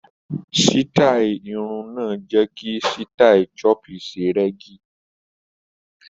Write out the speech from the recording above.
Sítáì irun náà jẹ́ kí sítáì choppy ṣe rẹ́gí.